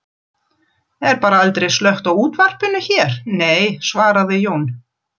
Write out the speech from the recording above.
Er bara aldrei slökkt á útvarpinu hér, nei, svaraði Jón